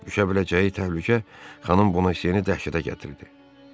Düşə biləcəyi təhlükə xanım Bonasiyeni dəhşətə gətirdi.